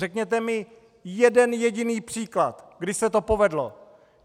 Řekněte mi jeden jediný příklad, kdy se to povedlo!